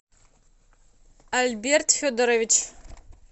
альберт федорович